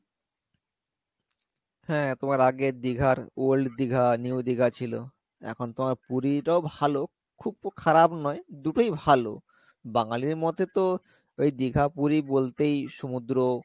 হ্যাঁ তোমার আগে দীঘার old দীঘা new দীঘা ছিলো এখন তোমার পুরিটাও ভালো খুব খারাপ নয় দুটোই ভালো বাঙালির মতে তো এই দীঘা পুরি বলতেই সমুদ্র,